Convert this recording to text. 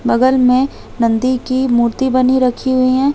बगल में नंदी की मूर्ति बनी हुई रखी हुई है।